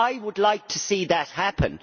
I would like to see that happen.